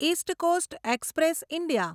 east coast express India